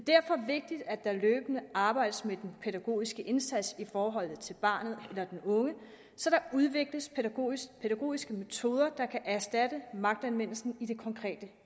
vigtigt at der løbende arbejdes med den pædagogiske indsats i forholdet til barnet eller den unge så der udvikles pædagogiske pædagogiske metoder der kan erstatte magtanvendelsen i det konkrete